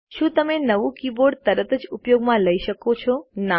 શું તમે નવું કીબોર્ડ તરત જ ઉપયોગમાં લઇ શકો છો